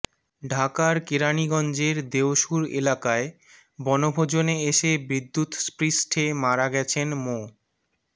ঢাকার কেরানীগঞ্জের দেওসুর এলাকায় বনভোজনে এসে বিদ্যুৎস্পৃষ্টে মারা গেছেন মো